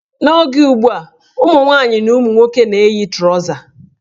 N' oge ugbua, ụmụnwaanyị na ụmụnwoke na-eyi trọza.